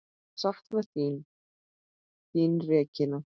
Ég sakna þín, þín Regína.